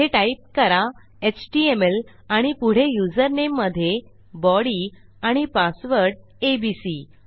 येथे टाईप करा एचटीएमएल आणि पुढे युजरनेम मधे बॉडी आणि पासवर्ड एबीसी